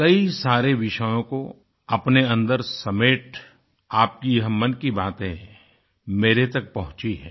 कई सारे विषयों को अपने अन्दर समेट आपकी यह मन की बातें मेरे तक पहुँची हैं